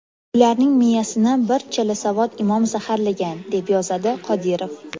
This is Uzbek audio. Ularning miyasini bir chalasavod imom zaharlagan”, deb yozadi Qodirov.